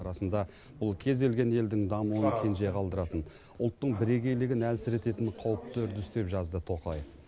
расында бұл кез келген елдің дамуын кенже қалдыратын ұлттың бірегейлігін әлсірететін қауіпті үрдіс деп жазды тоқаев